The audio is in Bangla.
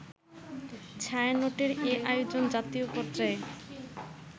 ছায়ানটের এ আয়োজন জাতীয় পর্যায়ে